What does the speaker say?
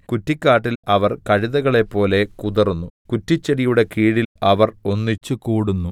കുറ്റിക്കാട്ടിൽ അവർ കഴുതകളെപ്പോലെ കുതറുന്നു കുറ്റിച്ചെടിയുടെ കീഴിൽ അവർ ഒന്നിച്ചുകൂടുന്നു